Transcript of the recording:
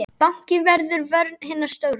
Báknið verður vörn hinna stóru.